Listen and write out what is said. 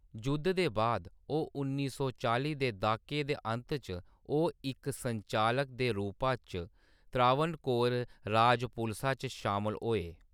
जुद्ध दे बाद, ओह्‌‌ उन्नी सौ चालीं दे द्हाके दे अंत च ओह्‌‌ इक संचालक दे रूपा च त्रावणकोर राज पुलसा च शामल होए।